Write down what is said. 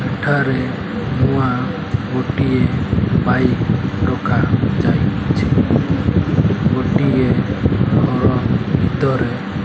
ଏଠାରେ ନୂଆ ଗୋଟିଏ ବାଇକ ରଖାଯାଇଛି। ଗୋଟିଏ ଘର ଭିତରେ --